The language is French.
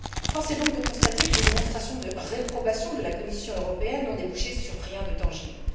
Force est donc de constater que les démonstrations de réprobation de la Commission européenne n'ont débouché sur rien de tangible.